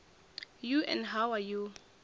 you and how are you